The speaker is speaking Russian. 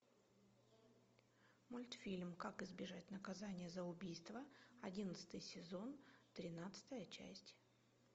мультфильм как избежать наказания за убийство одиннадцатый сезон тринадцатая часть